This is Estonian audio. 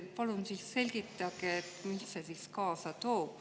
Palun selgitage, mis see endaga kaasa toob.